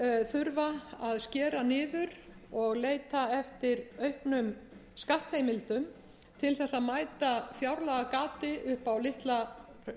þurfa að skera niður og leita eftir auknum skattheimildum til þess að mæta fjárlagagati upp á litla